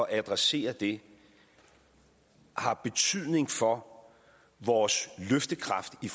at adressere det har betydning for vores løftekraft i